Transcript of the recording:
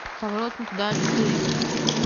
поворот не туда четыре